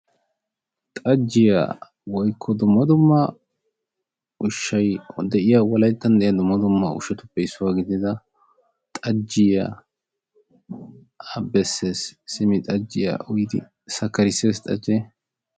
Xajjiya woykko dumma dumma ushshay de'iya wolayttan diya dumma dumma ushshauppe issuwa gidida xajjiya besees, simi xajjiya uyidi sakarisees xajjee.